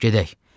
Gedək!